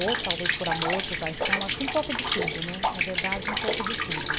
Ou talvez por amor, por paixão, acho que um pouco de tudo, né, na verdade um pouco de tudo.